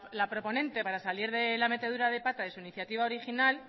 la proponente para salir de la metedura de pata de su iniciativa original